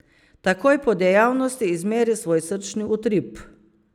Takoj po dejavnosti izmeri svoj srčni utrip.